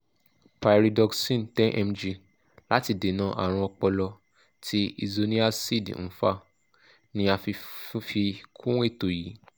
pyridoxine ten mg láti dènà àrùn ọpọlọ tí isoniazid ń fà ni a fi fi kún ètò yìí